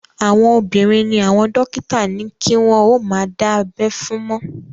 Àwọn obìnrin ni àwọn dókítà ní kí wọ́n ó má dá abẹ́ fún mọ́